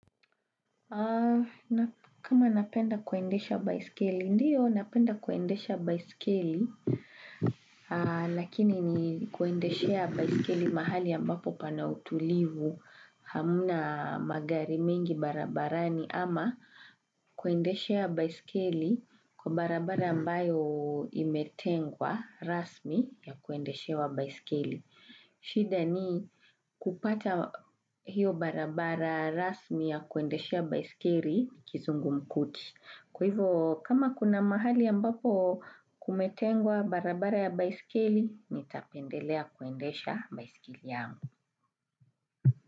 Kama napenda kuendesha baiskeli, ndiyo napenda kuendesha baiskeli, lakini ni kuendeshea baiskeli mahali ambapo pana utulivu hamna magari mingi barabarani ama kuendeshea baiskeli kwa barabara ambayo imetengwa rasmi ya kuendeshewa baiskeli. Shida ni kupata hiyo barabara rasmi ya kuendeshea baiskeli ni kizungumkuti. Kwa hivyo kama kuna mahali ambapo kumetengwa barabara ya baiskeli, nitapendelea kuendesha baiskeli yangu.